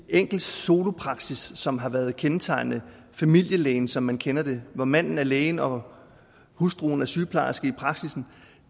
enkelte solopraksis som har været kendetegnende familielægen som man kender det hvor manden er lægen og hustruen er sygeplejersken i praksissen